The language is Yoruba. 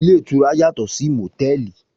Ilé ìtura yàtò sì mòtẹ́ẹ̀lì.